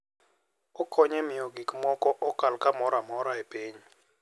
Okonyo e miyo gik moko okal kamoro amora e piny.